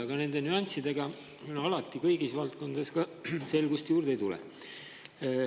Aga nende nüanssidega alati kõigis valdkondades selgust juurde ei tule.